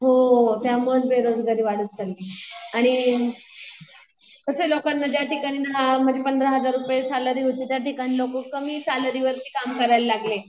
हो त्यामुळंच बेरोजगारी वाढत चालली आहे. आणि तसे लोकांनी ज्या ठिकाणी ना पंधरा हजार रुपये सॅलरी होती त्याठिकाणी लोकं कमी सॅलरी वरती काम करायला लागले.